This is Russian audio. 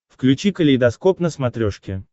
включи калейдоскоп на смотрешке